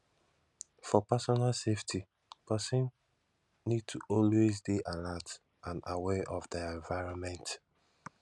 for personal safety person need to always dey alert and aware of their environment